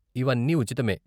ఇవన్నీ ఉచితమే.